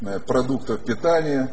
продуктов питания